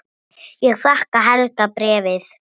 Ég þakka Helga bréfið.